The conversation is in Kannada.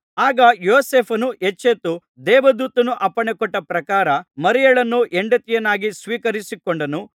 ಆಗ ಯೋಸೇಫನು ಎಚ್ಚೆತ್ತು ದೇವದೂತನು ಅಪ್ಪಣೆಕೊಟ್ಟ ಪ್ರಕಾರ ಮರಿಯಳನ್ನು ಹೆಂಡತಿಯನ್ನಾಗಿ ಸ್ವೀಕರಿಸಿಕೊಂಡನು